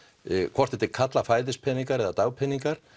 hvort þetta er kallað fæðispeningar eða dagpeningar